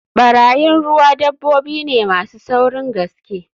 Barayin ruwa dabbobi ne masu saurin gaske